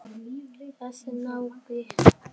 Þessi náungi.